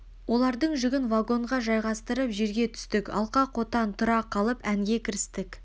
олардың жүгін вагонға жайғастырып жерге түстік алқа-қотан тұра қалып әнге кірістік